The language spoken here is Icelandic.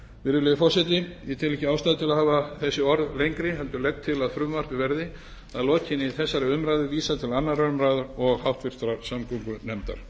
virðulegi forseti ég tel ekki ástæðu til að hafa þessi orð lengri heldur legg til að frumvarpið verði að lokinni þessari umræðu vísað til annarrar umræðu og háttvirtrar samgöngunefndar